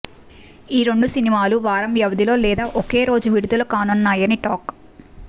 ఈ రెండు సినిమాలు వారం వ్యవధిలో లేదా ఒకే రోజు విడుదల కానున్నాయని టాక్